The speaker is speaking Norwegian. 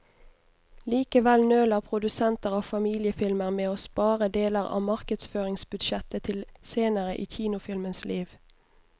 Likevel nøler produsenter av familiefilmer med å spare deler av markedsføringsbudsjettet til senere i kinofilmens liv.